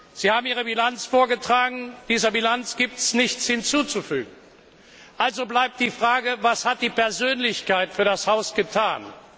Sie haben Ihre Bilanz vorgetragen. Dieser Bilanz gibt es nichts hinzuzufügen. Also bleibt die Frage Was hat die Persönlichkeit für das Haus getan?